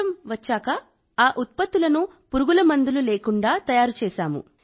ఆ పరిష్కారం వచ్చాక ఆ ఉత్పత్తులను పురుగుమందులు లేకుండా తయారు చేశాం